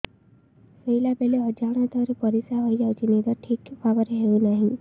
ଶୋଇଲା ବେଳେ ଅଜାଣତରେ ପରିସ୍ରା ହୋଇଯାଉଛି ନିଦ ଠିକ ଭାବରେ ହେଉ ନାହିଁ